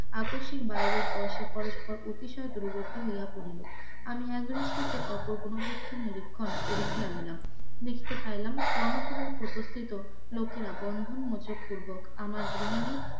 আকস্মিক বায়রের পর সে পরস্পর অতিশয় দুরবর্তি হইয়া পড়িল, আমি এক দৃষ্টিতে নিরীক্ষণ করিতে লাগিলাম, দেখিতে পারিলাম কর্ণ পুরের কথস্থিত লোকেরা বন্ধন মোচন পুর্বক আমার গৃহিনী